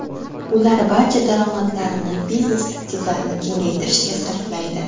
Ular barcha daromadlarini biznes aktivlarini kengaytirishga sarflaydi.